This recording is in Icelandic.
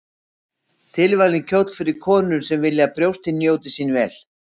Tilvalinn kjóll fyrir konur sem vilja að brjóstin njóti sín vel.